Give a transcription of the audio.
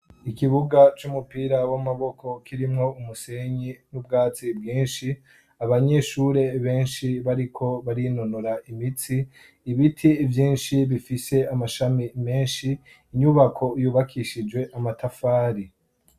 Ikibuga c'umupira w'amaboko kirimwo umusenyi n'ubwatsi bwinshi, abanyeshuri benshi bariko barinonora imitsi, ibiti vyinshi bifise amashami menshi, inyubako yubakishije amatafari.